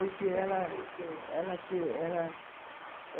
Porque ela... O que aconteceu? ela ela